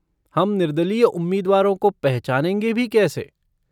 हम निर्दलीय उम्मीदवारों को पहचानेंगे भी कैसे?